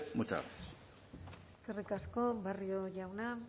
muchas gracias eskerrik asko barrio jauna